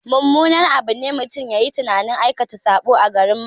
Mummunar abu ne mutum yayi tunanin aikata saɓo a garin Makka